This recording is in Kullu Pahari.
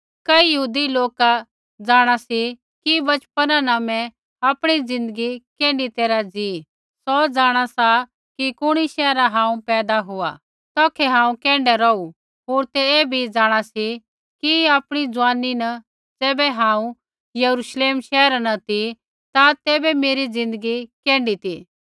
कई यहूदी लोक जाँणा सी कि बचपना न मैं आपणी ज़िन्दगी कैण्ढी तैरहा ज़ी सौ जाँणा सी कि कुणी शैहरा हांऊँ पैदा हुआ तौखै हांऊँ कैण्ढै रौहु होर तै ऐ बी जाँणा सी कि आपणी जुआनी न ज़ैबै हांऊँ यरूश्लेम शैहरा न ती ता तैबै मेरी ज़िन्दगी कैण्ढी ती